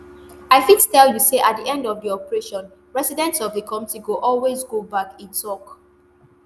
i fit tell you say at di end of di operation residents of di community go always go back e tok